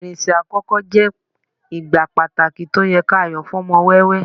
irinṣẹ àkókò je igbá pàtàkì to o ye ki a yo fún ọmọ wẹwẹ